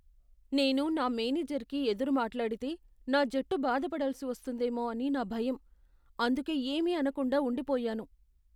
నేను నా మేనేజర్కి ఎదురు మాట్లాడితే, నా జట్టు బాధపడాల్సి వస్తుందేమో అని నా భయం ,అందుకే ఏమీ అనకుండా ఉండిపోయాను.